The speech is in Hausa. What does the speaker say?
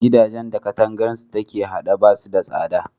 Gidajan da katangarsu take a haɗe, ba su da tsada.